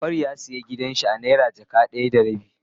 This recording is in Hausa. Jafaru ya siya gidan shi a naira jaka daya da rabi.